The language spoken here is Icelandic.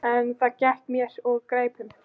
En það gekk mér úr greipum.